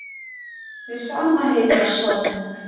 Við sama heygarðshornið